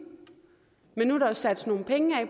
men nu er der jo sat nogle penge af